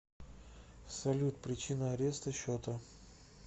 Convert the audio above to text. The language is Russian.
салют причина ареста счета